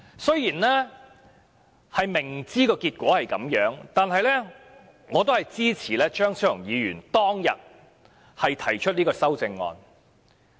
雖然明知有此結果，但我仍然支持張超雄議員當日提出的修正案。